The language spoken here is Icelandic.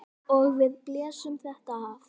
Og við blésum þetta af.